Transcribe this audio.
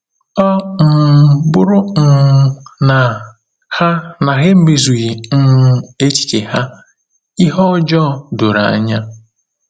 Ọ um bụrụ um na ha na ha emezughị um echiche ha, ihe ọjọọ doro anya.